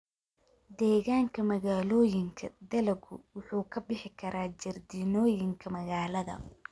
Deegaanka magaalooyinka, dalaggu wuxuu ka bixi karaa jardiinooyinka magaalada.